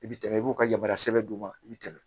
I bi tɛmɛ i b'u ka yamaruya sɛbɛn d'u ma i bi tɛmɛ